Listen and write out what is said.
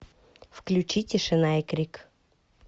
включи тишина и крик